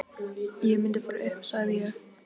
Ég mundi fara upp, sagði ég.